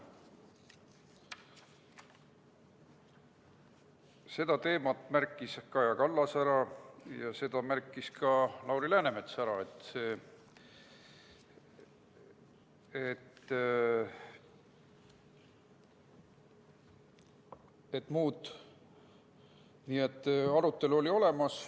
Selle teema märkis ära Kaja Kallas ja seda märkis ka Lauri Läänemets, nii et arutelu oli olemas.